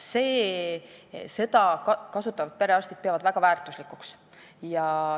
Seda teenust peavad perearstid väga väärtuslikuks.